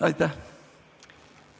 Aitäh!